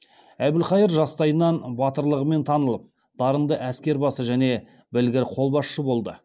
әбілқайыр жастайынан батылдығымен танылып дарынды әскербасы және білгір қолбасшы болды